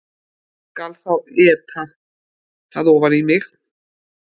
Skal þá éta það ofan í mig